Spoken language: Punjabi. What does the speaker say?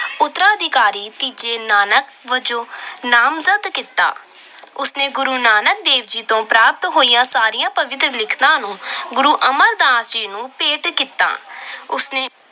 ਉਤਰਾਧਿਕਾਰੀ ਤੀਜੇ ਨਾਨਕ ਵਜੋਂ ਨਾਮਜਦ ਕੀਤਾ। ਉਸ ਨੇ ਗੁਰੂ ਨਾਨਕ ਤੋਂ ਪ੍ਰਾਪਤ ਹੋਈਆਂ ਸਾਰੀਆਂ ਪਵਿੱਤਰ ਲਿਖਤਾਂ ਨੂੰ ਗੁਰੂ ਅਮਰਦਾਸ ਜੀ ਨੂੰ ਭੇਟ ਕੀਤਾ। ਉਸਨੇ